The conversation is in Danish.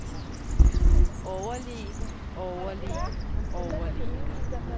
overleve overleve overleve